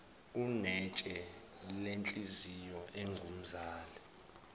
unetshe lenhliziyo ungumzala